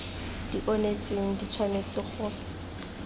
di onetseng di tshwanetse go